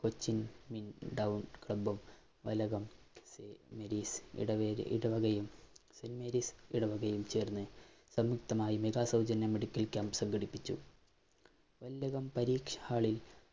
cochin club ഉം Mathilakam saint Mary's ഇടവകയും saint മേരീസ്ഇടവകയും ചേര്‍ന്ന് സംയുക്തമായി mega സൗജന്യ medical camp സംഘടിപ്പിച്ചു.